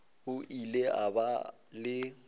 o ile a ba le